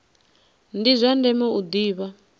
ndi zwa ndeme u ḓivha